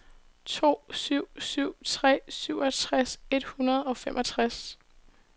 to syv syv tre seksogtres et hundrede og femogtres